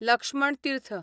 Laxman Tirth